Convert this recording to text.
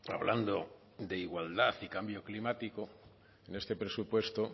hablando de igualdad y cambio climático en este presupuesto